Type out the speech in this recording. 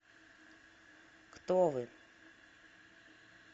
кто вы